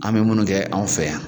An mɛ munnu kɛ anw fɛ yan.